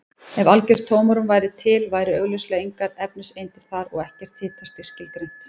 Ef algjört tómarúm væri til væru augljóslega engar efniseindir þar og ekkert hitastig skilgreint.